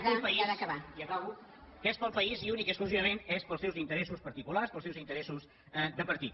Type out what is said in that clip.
que és pel país i acabo que és pel país i únicament i exclusivament és pels seus interessos particulars pels seus interessos de partit